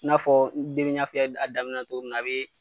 N'a fɔ n y'a f'i ye a daminɛ nacogo min na, a be